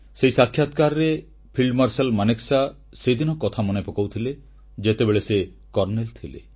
ସେହି ସାକ୍ଷାତକାରରେ field marshal Sam Manekshaw ସେଦିନ କଥା ମନେପକାଉଥିଲେ ଯେତେବେଳେ ସେ କର୍ଣ୍ଣେଲ ଥିଲେ